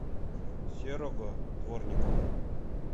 серого дворникова